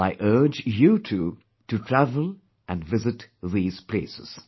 I urge you too to travel & visit these places